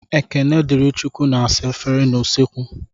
Ekenedịrịchukwu na-asa efere n'usekwu.